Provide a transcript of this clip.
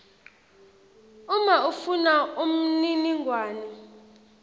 uma ufuna umniningwane